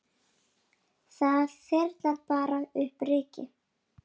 Það þyrlar bara upp ryki.